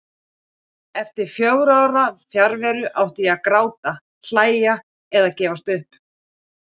Eftir fjögurra ára fjarveru. átti ég að gráta, hlæja eða gefast upp?